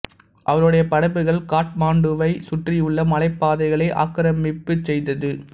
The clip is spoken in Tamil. அவருடைய படைகள் காட்மாண்டுவைச் சுற்றியுள்ள மலைப் பாதைகளை ஆக்கிரமிப்பு செய்தது